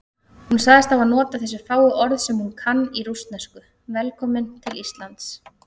Hún sagðist hafa notað þessi fáu orð sem hún kann í rússnesku: Velkominn til Íslands.